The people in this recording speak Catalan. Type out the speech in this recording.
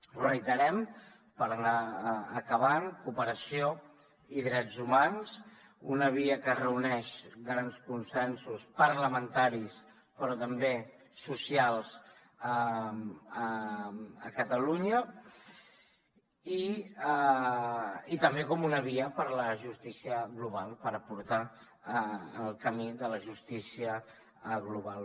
ho reiterem per anar acabant cooperació i drets humans una via que reuneix grans consensos parlamentaris però també socials a catalunya i també com una via per a la justícia global per portar ho al camí de la justícia global